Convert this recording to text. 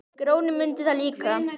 Grjóni mundi það líka.